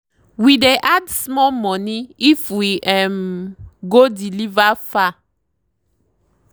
we dey add small money if we um go deliver far.